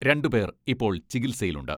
രണ്ടുപേർ ഇപ്പോൾ ചികിൽസയിലുണ്ട്.